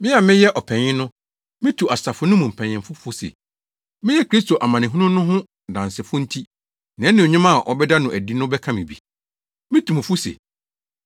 Me a meyɛ ɔpanyin no, mitu asafo no mu mpanyimfo fo se, meyɛ Kristo amanehunu no ho dansefo nti nʼanuonyam a wɔbɛda no adi no bɛka me bi. Mitu mo fo se,